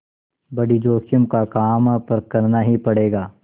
बड़ी जोखिम का काम है पर करना ही पड़ेगा